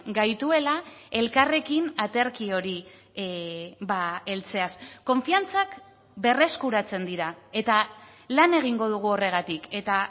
gaituela elkarrekin aterki hori heltzeaz konfiantzak berreskuratzen dira eta lan egingo dugu horregatik eta